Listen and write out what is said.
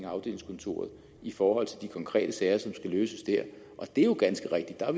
afdelingskontoret i forhold til de konkrete sager som skal løses der og det er ganske rigtigt at